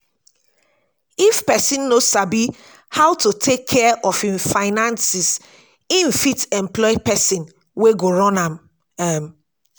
if person no sabi how to take care of im finances im fit employ person wey go run am um